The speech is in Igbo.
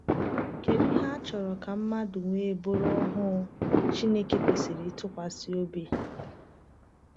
Kedu ihe a chọrọ ka mmadụ wee bụrụ ohu Chineke kwesịrị ntụkwasị obi?